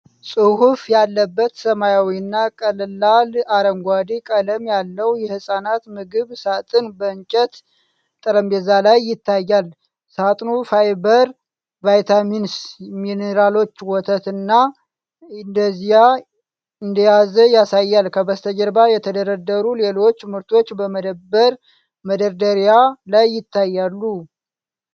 ጽሑፍ ያለበት ሰማያዊና ቀላል አረንጓዴ ቀለም ያለው የሕፃናት ምግብ ሳጥን በእንጨት ጠረጴዛ ላይ ይታያል። ሳጥኑ ፋይበር፣ ቫይታሚንስ፣ ሚኒራሎችና ወተት እንደያዘ ያሳያል። ከበስተጀርባ የተደረደሩ ሌሎች ምርቶች በመደብር መደርደሪያ ላይ ይታያሉ።